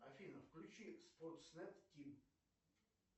афина включи спортснет тим